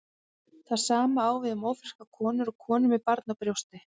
Það sama á við um ófrískar konur og konur með barn á brjósti.